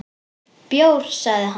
Bjór, sagði hann.